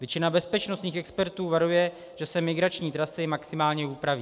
Většina bezpečnostních expertů varuje, že se migrační trasy maximálně upraví.